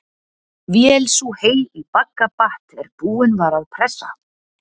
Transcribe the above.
Vél sú hey í bagga batt er búin var að pressa.